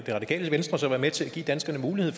ville